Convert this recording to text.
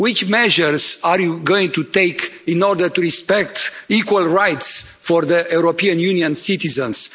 Which measures are you going to take in order to respect equal rights for European Union citizens?